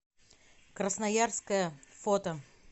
красноярское фото